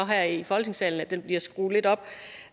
her i folketingssalen bliver skruet lidt op